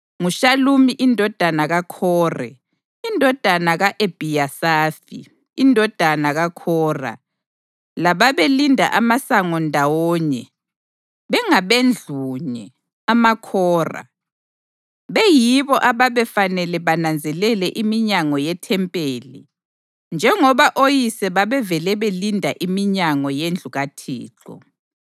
nguShalumi indodana kaKhore, indodana ka-Ebhiyasafi, indodana kaKhora, lababelinda amasango ndawonye bengabendlunye (amaKhora) beyibo ababefanele bananzelele iminyango yeThempeli njengoba oyise babevele belinda iminyango yendlu kaThixo.